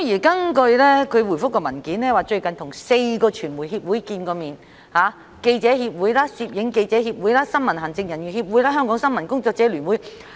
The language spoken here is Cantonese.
主體答覆表示，警務處處長最近與4個傳媒協會會面，包括香港記者協會、香港攝影記者協會、新聞行政人員協會及香港新聞工作者聯會。